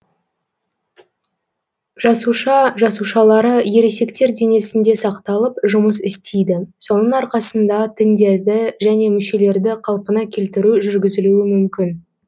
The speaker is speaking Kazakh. жасуша жасушалары ересектер денесінде сақталып жұмыс істейді соның арқасында тіндерді және мүшелерді қалпына келтіру жүргізілуі мүмкін